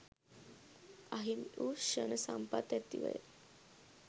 අහිමි වූ ක්ෂණ සම්පත් ඇතිවය